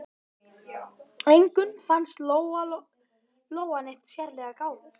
Engum fannst Lóa-Lóa neitt sérlega gáfuð.